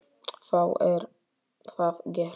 Þá er það gert.